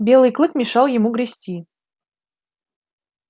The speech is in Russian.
белый клык мешал ему грести